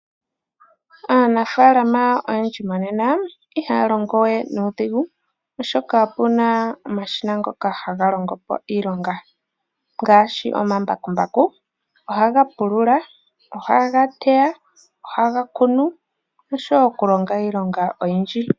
Aanafaalama oyendji monena i ha ya longo we nuudhigu oshoka, o pu na omashina ngoka ha ga longo po iilonga ngaashi; omambakumbaku ngoka ha ga pulula, ha ga teya, ta ga kunu, osho woo okulonga iilonga oyindji.